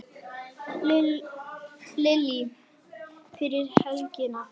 Lillý: Fyrir helgina?